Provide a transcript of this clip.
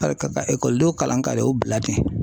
ka ekɔlidenw kalan ka na o bila ten